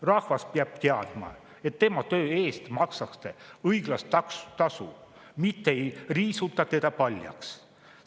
Rahvas peab teadma, et tema töö eest makstakse õiglast tasu, mitte ei riisuta teda paljaks.